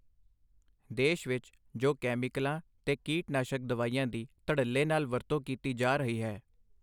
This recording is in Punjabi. ਦੇਸ਼ ਵਿੱਚ ਜੋ ਕੈਮੀਕਲਾਂ ਤੇ ਕੀਟ ਨਾਸ਼ਕ ਦਵਾਈਆਂ ਦੀ ਧੱੜਲੇ ਨਾਲ ਵਰਤੋਂ ਕੀਤੀ ਜਾ ਰਹੀ ਹੈ।